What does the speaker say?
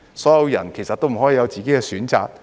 所有人都不可以有自己的選擇嗎？